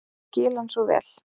Ég skil hann svo vel.